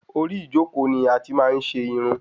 Orí ijoko ni ati máa n ṣe Irun